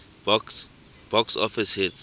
box office hits